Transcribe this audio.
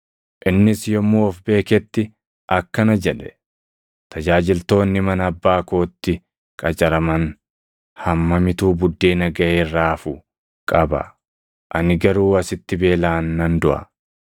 “Innis yommuu of beeketti akkana jedhe; ‘Tajaajiltoonni mana abbaa kootti qacaraman hammamitu buddeena gaʼee irraa hafu qaba! Ani garuu asitti beelaan nan duʼa.